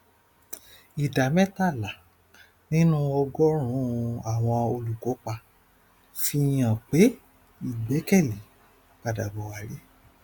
ìdá métàlá nínú ọgórùnún àwọn olùkópa fihan pé ìgbẹkẹlé padà bò wálé